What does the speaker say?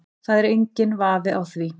Það er enginn vafi á því